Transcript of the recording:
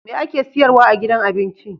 Me ake siyarwa a gidan abinci